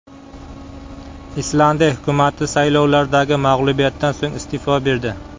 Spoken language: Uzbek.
Islandiya hukumati saylovlardagi mag‘lubiyatdan so‘ng iste’fo berdi.